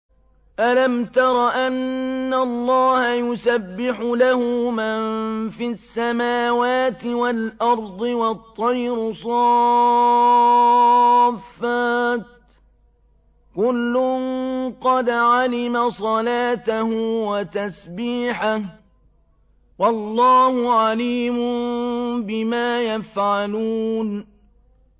أَلَمْ تَرَ أَنَّ اللَّهَ يُسَبِّحُ لَهُ مَن فِي السَّمَاوَاتِ وَالْأَرْضِ وَالطَّيْرُ صَافَّاتٍ ۖ كُلٌّ قَدْ عَلِمَ صَلَاتَهُ وَتَسْبِيحَهُ ۗ وَاللَّهُ عَلِيمٌ بِمَا يَفْعَلُونَ